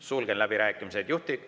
Sulgen läbirääkimised.